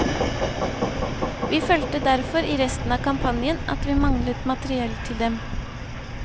Vi følte derfor i resten av kampanjen at vi manglet materiell til dem.